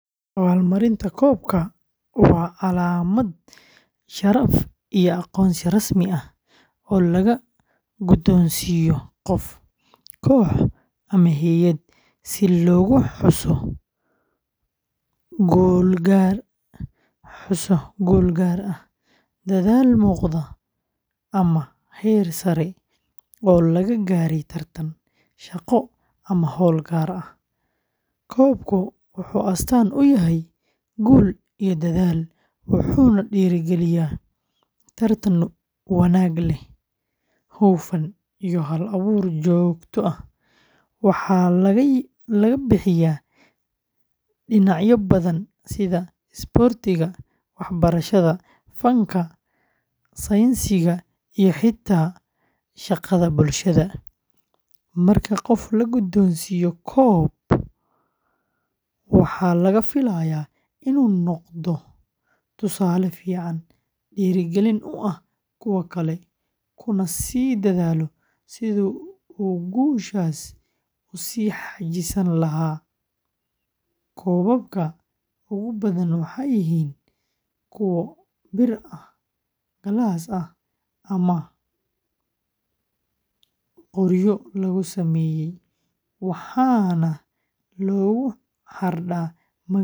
Abaalmarinta koobka, waa calaamad sharaf iyo aqoonsi rasmi ah oo la guddoonsiiyo qof, koox ama hay’ad si loogu xuso guul gaar ah, dadaal muuqda, ama heer sare oo laga gaaray tartan, shaqo, ama howl gaar ah. Koobku wuxuu astaan u yahay guul iyo dadaal, wuxuuna dhiirrigeliyaa tartan wanaag leh, hufnaan iyo hal-abuur joogto ah. Waxaa laga bixiyaa dhinacyo badan sida isboortiga, waxbarashada, fanka, sayniska iyo xitaa shaqada bulshada. Marka qof la guddoonsiiyo koob, waxaa laga filayaa inuu noqdo tusaale fiican, dhiirigelin u ah kuwa kale, kuna sii dadaalo sidii uu guushaas u sii xajisan lahaa. Koobabka ugu badan waxay yihiin kuwo bir ah, galaas ah ama qoryo lagu sameeyay, waxaana lagu xardhaa magaca guuleystaha.